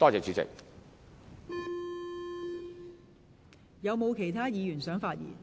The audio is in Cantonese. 是否有其他議員想發言？